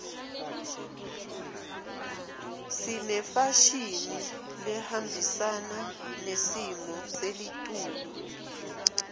sinefashini lehambisana nesimo selitulu